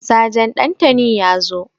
Sajan Ɗantani ya zo.